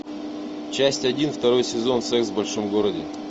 часть один второй сезон секс в большом городе